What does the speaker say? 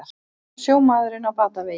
Sjómaðurinn á batavegi